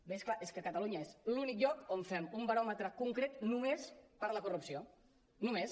bé és clar és que a catalunya és l’únic lloc on fem un baròmetre concret només per la corrupció només